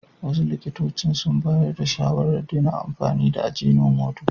Wasu likitocin sun bayar da shawarar daina amfani da ajinomoto.